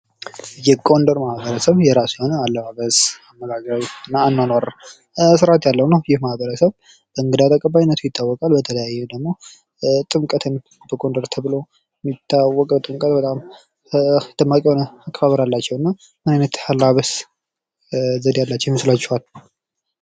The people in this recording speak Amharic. የ ጎንደር ማህበረሰብ የራሱ የሆነ አለባበስ፣ አመጋገብ እና አኗኗር ስርዓት ያለውና ይህ ማሀረሰብ በእንግዳ ተቀባይነቱ ይታወቃል። በተለይም ደግሞ ጥምቀትን በጎንደር ተብሎ የሚታወቀው ጥምቀት በጣም ደማቅ የሆነ አከባበር አላቸው። እና ምን አይነት የአለባበስ ዘዴ ያላቸው ይመስላችኋል?